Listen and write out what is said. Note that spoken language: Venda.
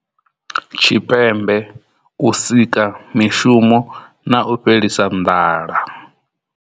Tshipembe, u sika mishumo na u fhelisa nḓala.